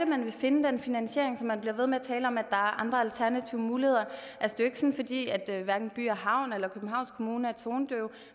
man vil finde den finansiering når man bliver ved med at tale om at er andre og alternative muligheder det er hverken by og havn eller københavns kommune er tonedøve